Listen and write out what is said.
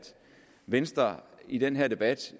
venstre i den her debat